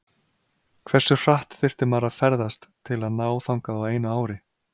Hversu hratt þyrfti maður að ferðast til að ná þangað á einu ári?.